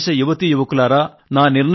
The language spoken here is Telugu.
నా దేశ యువతీయువకులారా